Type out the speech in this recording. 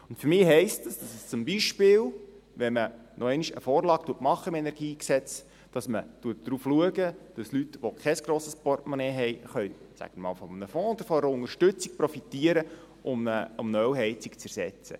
Und für mich heisst das, dass man darauf achtet, wenn man zum Beispiel noch einmal eine Vorlage zum KEnG macht, dass Leute, die kein grosses Portemonnaie haben, von einem Fonds oder einer Unterstützung profitieren können, um eine Ölheizung zu ersetzen.